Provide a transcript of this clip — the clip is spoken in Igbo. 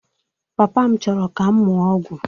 Papa m chọrọ ka m mụọ ọgwụ